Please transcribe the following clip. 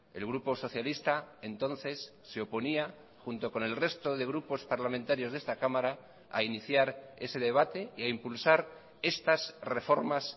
el grupo socialista entonces se oponía junto con el resto de grupos parlamentarios de esta cámara a iniciar ese debate y a impulsar estas reformas